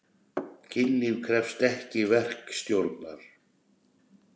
Kynlíf krefst ekki verkstjórnar.